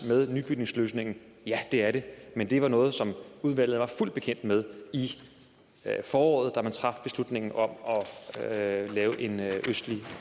med nybygningsløsningen ja det er det men det var noget som udvalget var fuldt bekendt med i foråret da man traf beslutningen om at lave en østlig